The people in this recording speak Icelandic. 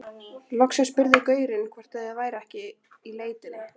Loksins spurði gaurinn hvort ég væri ekki í leitinni.